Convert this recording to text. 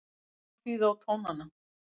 Hér má hlýða á tónana